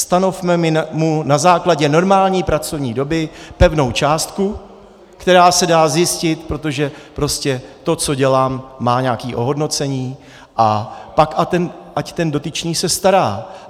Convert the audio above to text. Stanovme mu na základě normální pracovní doby pevnou částku, která se dá zjistit, protože prostě to, co dělám, má nějaké ohodnocení, a pak ať ten dotyčný se stará.